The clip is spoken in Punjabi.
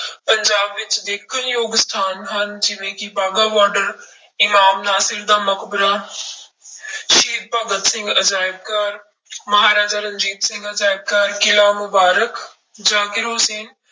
ਪੰਜਾਬ ਵਿੱਚ ਦੇਖਣ ਯੋਗ ਸਥਾਨ ਹਨ ਜਿਵੇਂ ਕਿ ਬਾਗਾ ਬਾਰਡਰ, ਇਮਾਮ ਨਾਸਿਰ ਦਾ ਮਕਬਰਾ ਸ਼ਹੀਦ ਭਗਤ ਸਿੰਘ ਅਜ਼ਾਇਬ ਘਰ ਮਹਾਰਾਜਾ ਰਣਜੀਤ ਸਿੰਘ ਅਜ਼ਾਇਬ ਘਰ, ਕਿਲ੍ਹਾ ਮੁਬਾਰਕ, ਜ਼ਾਕਿਰ ਹੁਸ਼ੈਨ